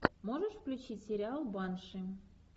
можешь включить сериал банши